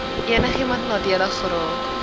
enigiemand nadelig geraak